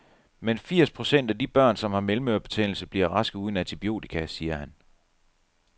Men firs procent af de børn, som har mellemørebetændelse, bliver raske uden antibiotika, siger han.